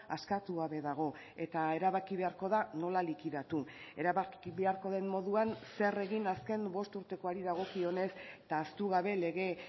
askatu gabe dago eta erabaki beharko da nola likidatu erabaki beharko den moduan zer egin azken bost urtekoari dagokionez eta ahaztu gabe lege